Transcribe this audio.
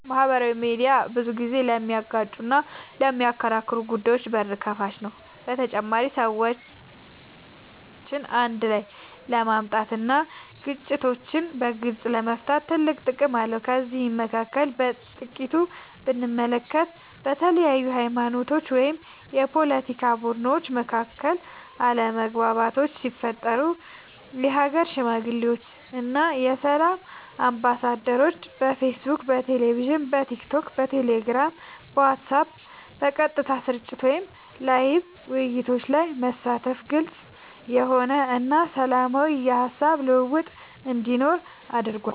ማህበራዊ ሚድያ ብዙ ጊዜ ለሚጋጩና ለሚከራከሩ ጉዳዮች በር ከፋች ነው በተጨማሪም ሰዎችን አንድ ላይ ለማምጣት እና ግጭቶችን በግልፅ ለመፍታት ትልቅ ጥቅም አለው ከነዚህም መካከል በጥቂቱ ብንመለከት በተለያዩ ሀይማኖቶች ወይም የፓለቲካ ቡድኖች መካከል አለመግባባቶች ሲፈጠሩ የሀገር ሽማግሌዎች እና የሰላም አምባሳደሮች በፌስቡክ በቴሌቪዥን በቲክቶክ በቴሌግራም በዋትስአብ በቀጥታ ስርጭት ወይም ላይቭ ውይይቶች ላይ በመሳተፍ ግልፅ የሆነ እና ሰላማዊ የሀሳብ ልውውጥ እንዲኖር አድርጓል።